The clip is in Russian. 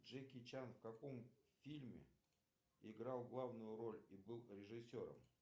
джеки чан в каком фильме играл главную роль и был режиссером